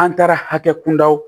An taara hakɛ kunda o